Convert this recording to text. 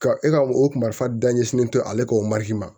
Ka e ka o marifa da ɲɛsinnen to ale ka o mariki ma